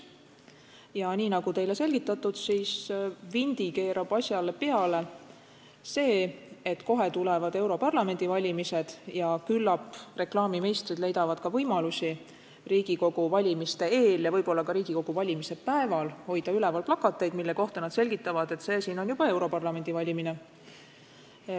Ja nii nagu teile on teada, vindi keerab asjale peale see, et peagi tulevad europarlamendi valimised ja küllap reklaamimeistrid leiavad võimalusi ka Riigikogu valimiste eel ja võib-olla ka Riigikogu valimise päeval hoida üleval plakateid, mille kohta nad selgitavad, et see siin on juba europarlamendi valimine.